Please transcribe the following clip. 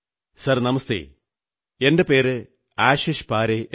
sir namaste എന്റെ പേര് ആശിഷ് പാരേ എന്നാണ്